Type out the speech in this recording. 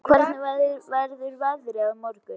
Röskva, hvernig verður veðrið á morgun?